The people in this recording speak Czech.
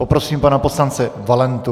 Poprosím pana poslance Valentu.